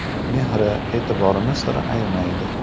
Mehri, e’tiborini sira ayamaydi.